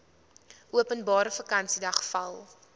openbare vakansiedag val